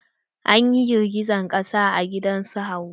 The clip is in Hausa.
An yi girgijen ƙasa a gidan su Hauwa.